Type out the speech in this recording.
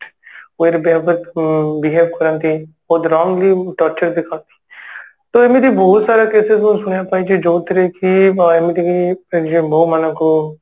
way ରେ Behave behave କରନ୍ତି ବହୁତ wrongly torturer ଦେଖନ୍ତି ତ ଏମିତି ବହୁତ ସାରା cases ମୁଁ ଶୁଣିବାକୁ ପାଇଛି ଯୋଉଥିରେ କି ଏମିତିକି ଯେ ବୋହୁ ମାନଙ୍କୁ